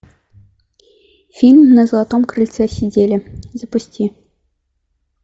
фильм на златом крыльце сидели запусти